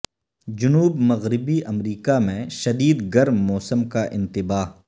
جنوب مغربی امریکہ میں شدید گرم موسم کا انتباہ